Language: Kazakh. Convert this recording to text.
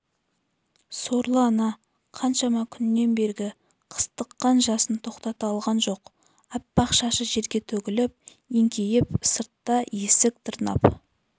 сорлы ана қаншама күннен бергі қыстыққан жасын тоқтата алған жоқ аппақ шашы жерге төгіліп еңкейіп сыртта есік тырнап